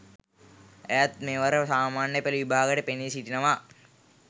ඇයත් මෙවර සාමාන්‍ය පෙළ විභාගයට පෙනී සිටිනවා